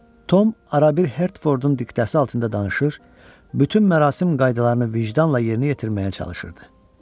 Tom arabir Hertfordun diktəsi altında danışır, bütün mərasim qaydalarını vicdanla yerinə yetirməyə çalışırdı.